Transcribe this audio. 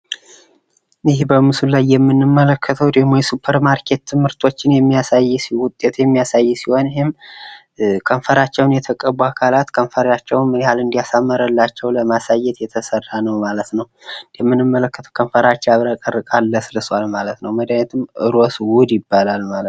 ይህ በምስሉ ላይ የምንመለከተው ደግሞ የሱፐርማርኬት ምርቶችን የሚያሳይ ውጤት የሚያሳይ ሲሆን ይህም ከንፈራቸውን የተቀቡ አካላት ከንፈራቸውን ምንያህል እንዳሳመረላቸው ለማሳየት የተሰራ ነው ማለት ነው ። እንደምንመለከተው ከንፈራቸው ያብረቀርቃል ፣ ለስልሶል ማለት ነው ። መዳኒቱም ሮስ ውድ ይባላል ማለት ነው ።